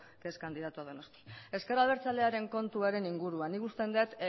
que es candidato a donosti ezker abertzalearen kontuan inguruan nik uste dut